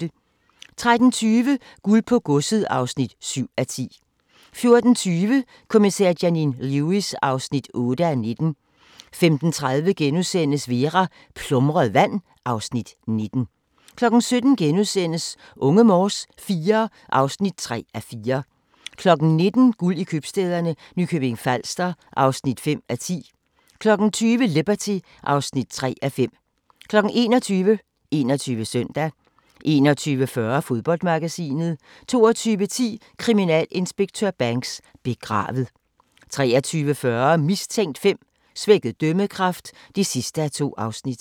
13:20: Guld på godset (7:10) 14:20: Kommissær Janine Lewis (8:19) 15:30: Vera: Plumret vand (Afs. 19)* 17:00: Unge Morse IV (3:4)* 19:00: Guld i købstæderne – Nykøbing Falster (5:10) 20:00: Liberty (3:5) 21:00: 21 Søndag 21:40: Fodboldmagasinet 22:10: Kriminalinspektør Banks: Begravet 23:40: Mistænkt 5: Svækket dømmekraft (2:2)